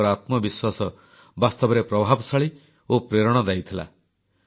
ସେମାନଙ୍କର ଆତ୍ମବିଶ୍ୱାସ ବାସ୍ତବରେ ପ୍ରଭାବଶାଳୀ ଓ ପ୍ରେରଣାଦାୟୀ ଥିଲା